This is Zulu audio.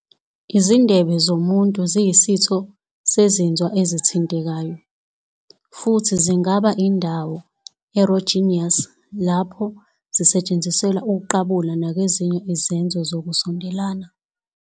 Izindebe zomuntu ziyisitho sezinzwa ezithintekayo, futhi zingaba yindawo erogenous lapho zisetshenziselwa ukuqabula nakwezinye izenzo zokusondelana.